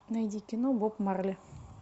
найди кино боб марли